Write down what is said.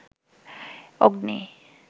অগ্নি